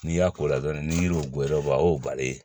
N'i y'a k'o la dɔrɔn ni yiriw geren o y'o bali